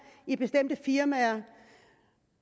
i bestemte firmaer